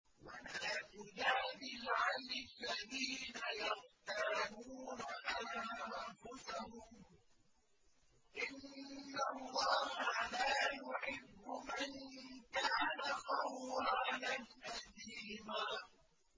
وَلَا تُجَادِلْ عَنِ الَّذِينَ يَخْتَانُونَ أَنفُسَهُمْ ۚ إِنَّ اللَّهَ لَا يُحِبُّ مَن كَانَ خَوَّانًا أَثِيمًا